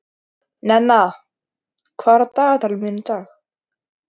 Nenna, hvað er á dagatalinu mínu í dag?